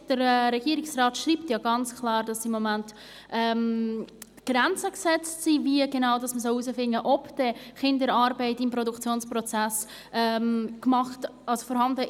Der Regierungsrat schreibt ja ganz klar, dass es im Moment Grenzen gibt, wie genau man herausfinden solle, ob denn Kinderarbeit im Produktionsprozess vorkommt oder nicht.